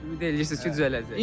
Ümid eləyirsiz ki, düzələcək?